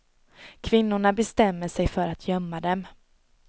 Kvinnorna bestämmer sig för att gömma dem.